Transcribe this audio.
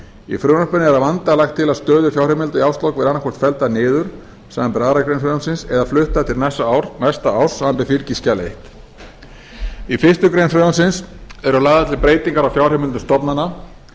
í frumvarpinu er að vanda lagt til að stöðu fjárheimilda í árslok verði annaðhvort felldar niður samanber aðra grein frumvarpsins eða fluttar til næsta árs samanber fylgiskjal fyrstu í fyrstu grein frumvarpsins eru lagðar til breytingar á fjárheimildum stofnana